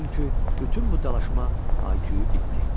Çünki bütün bu dalaşma haikyu bitdi.